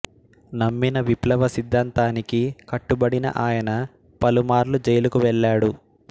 నమ్మిన విప్లవ సిద్ధాంతానికి కట్టుబడిన ఆయన పలుమార్లు జైలుకు వెళ్లాడు